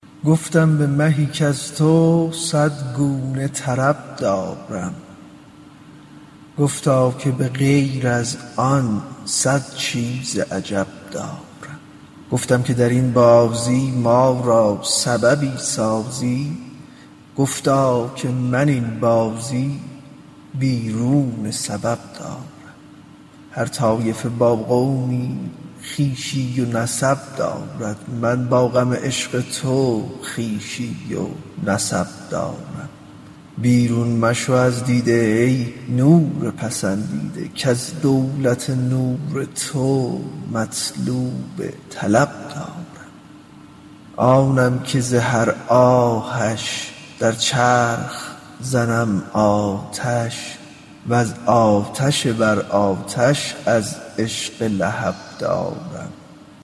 گفتم به مهی کز تو صد گونه طرب دارم گفتا که به غیر آن صد چیز عجب دارم گفتم که در این بازی ما را سببی سازی گفتا که من این بازی بیرون سبب دارم هر طایفه با قومی خویشی و نسب دارند من با غم عشق تو خویشی و نسب دارم بیرون مشو از دیده ای نور پسندیده کز دولت نور تو مطلوب طلب دارم آنم که ز هر آهش در چرخ زنم آتش وز آتش بر آتش از عشق لهب دارم